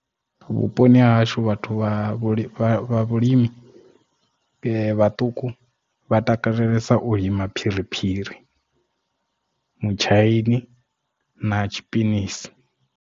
Vhuponi ha hashu vhathu vha vhulimi vhaṱuku vha takalesa u lima phiriphiri, mutshaini na tshipinitshi.